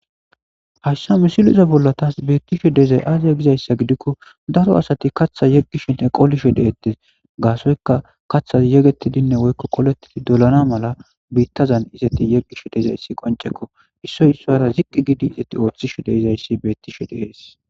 Hayissan misilezza bolla tasi bettishshe dizayi aze Gizayissa giko daro asati kaththa yegishshenne qolishshe de'etees.gassoyikka kaththas yegetidinne woyikko dolanna malanni betazanni izeti yegishshe dizayi qonnicekko .issoyi issueata izeti oththishshe dizayis bettishshe de'es.